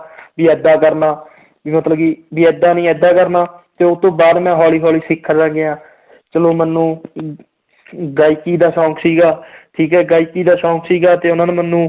ਵੀ ਏਦਾਂ ਕਰਨਾ ਵੀ ਮਤਲਬ ਕਿ ਵੀ ਏਦਾਂ ਨੀ ਏਦਾਂ ਕਰਨਾ, ਤੇ ਉਹ ਤੋਂ ਬਾਅਦ ਮੈਂ ਹੌਲੀ ਹੌਲੀ ਸਿੱਖਦਾ ਗਿਆ ਚਲੋ ਮੈਨੂੰ ਅਮ ਗਾਇਕੀ ਦਾ ਸ਼ੌਂਕ ਸੀਗਾ ਠੀਕ ਹੈ ਗਾਇਕੀ ਦਾ ਸ਼ੌਂਕ ਸੀਗਾ ਤੇ ਉਹਨਾਂ ਨੇ ਮੈਨੂੰ